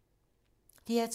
DR2